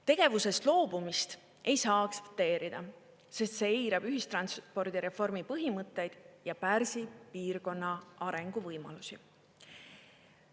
Tegevusest loobumist ei saa aktsepteerida, sest see eirab ühistranspordireformi põhimõtteid ja pärsib piirkonna arenguvõimalusi.